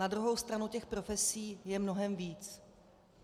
Na druhou stranu těch profesí je mnohem víc.